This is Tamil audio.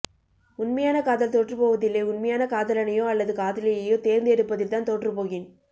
உண்மையான காதல் தோற்றுப்போவதில்லை உண்மையான காதலனையோ அல்லது காதலியையோ தேர்ந்து எடுப்பதில்தான் தோற்றுபோகின்